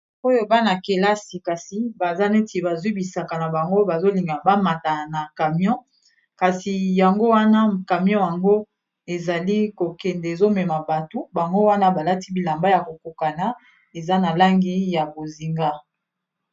oyo bana-kelasi kasi baza neti bazwibisaka na bango bazolinga bamata na camion kasi yango wana camion yango ezali kokende ezomema bato bango wana balati bilamba ya kokokana eza na langi ya bozinga